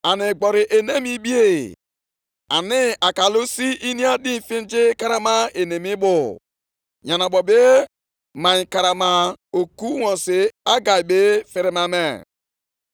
Okwu Onyenwe anyị bịakwutere Hegai nke ugboro abụọ, nʼụbọchị nke iri abụọ na anọ nke ọnwa ahụ, sị,